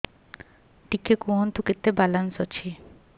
ଟିକେ କୁହନ୍ତୁ କେତେ ବାଲାନ୍ସ ଅଛି